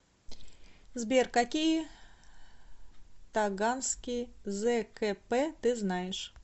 сбер какие таганский зкп ты знаешь